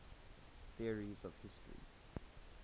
theories of history